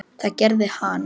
Það gerði hann.